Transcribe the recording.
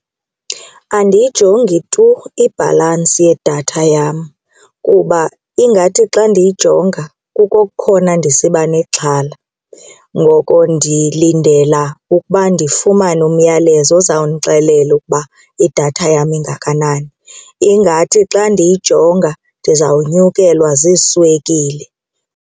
Andiyijongi tu ibhalantsi yedatha yam kuba ingathi xa ndiyijonga kukukhona ndisiba nexhala ngoko ndilindela ukuba ndifumane umyalezo ozawundixelela ukuba idatha yam ingakanani. Ingathi xa ndiyijonga ndizawunyukela ziiswekile.